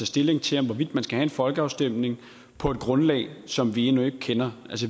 stilling til hvorvidt man skal have folkeafstemning på et grundlag som vi endnu ikke kender